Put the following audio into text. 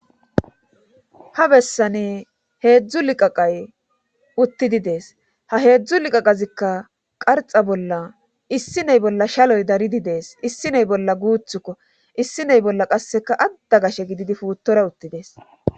Ha bessani heedzdzu liqaqay uttidi dees ha heedzdzu liqaqazikka qarxa bolla issiney bolla shaloy daridi dees issiney bolla guuththukko issiney bolla qasseka adda gashshe gididi puuttora uttidees